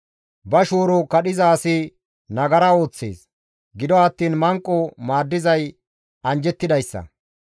Ba shooro kadhiza asi nagara ooththees; gido attiin manqo maaddizay anjjettidayssa.